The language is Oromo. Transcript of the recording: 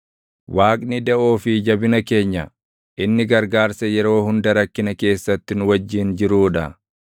Waaqni daʼoo fi jabina keenya; inni gargaarsa yeroo hunda rakkina keessatti nu wajjin jiruu dha.